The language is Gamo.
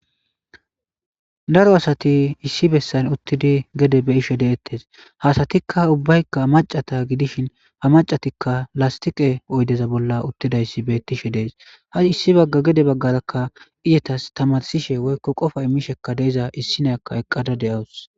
Daro asati issi bessan uttidi gede be ishe deettes hasatikka ubbaykka macata gidishin ha macatikka lastiqe oydeza bolla uttidayssi beettishe dees ha issi bagga gede baggarakka izatas tamarsishe woykko qofa imishekka deeza issinaakka eqqada de'awus.